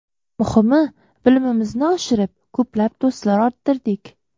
Muhimi, bilimimizni oshirib, ko‘plab do‘stlar orttirdik.